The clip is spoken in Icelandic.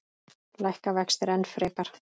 Lækka vextir enn frekar?